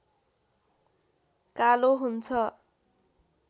कालो हुन्छ